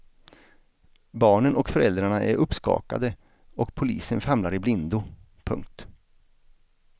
Barnen och föräldrarna är uppskakade och polisen famlar i blindo. punkt